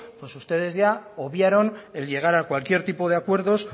pues ustedes ya obviaron el llegar a cualquier tipo de acuerdos